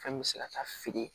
Fɛn min bɛ se ka taa feere